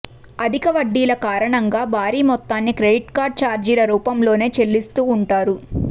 అధిక వడ్డీల కారణంగా భారీ మొత్తాన్ని క్రెడిట్ కార్డ్ ఛార్జీల రూపంలోనే చెల్లిస్తూ ఉంటారు